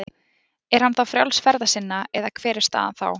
Er hann þá frjáls ferða sinna eða hver er staðan þá?